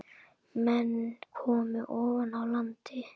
Menn komu ofan af landi.